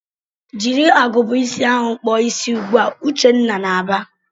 "Jiri agụba ịsị ahụ kpụọ isi ugbu a!" Uchenna na-aba.